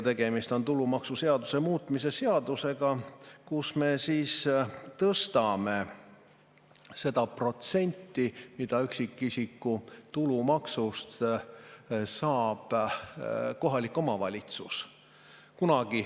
Tegemist on tulumaksuseaduse muutmise seadusega, et tõsta seda protsenti, mille üksikisiku tulumaksust saab kohalik omavalitsus.